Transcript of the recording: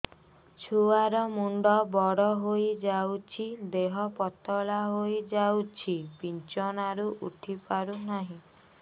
ଛୁଆ ର ମୁଣ୍ଡ ବଡ ହୋଇଯାଉଛି ଦେହ ପତଳା ହୋଇଯାଉଛି ବିଛଣାରୁ ଉଠି ପାରୁନାହିଁ